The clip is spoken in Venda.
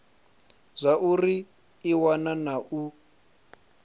zwauri i wana na u